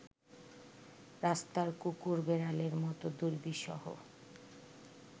রাস্তার কুকুর বেড়ালের মত দুর্বিষহ